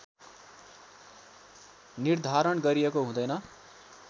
निर्धारण गरिएको हुँदैन